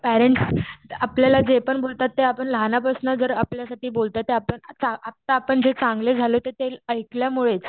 Parents आपल्याला जे पण बोलतात ते आपण जर लहानपासन जर आपल्यासाठी बोलतात तर आपण आता आपण चांगले झालो ते ऐकल्यामुळेच.